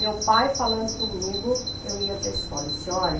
Meu pai falando comigo, eu ia para escola e disse, olha,